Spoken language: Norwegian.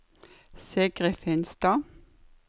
Sigrid Finstad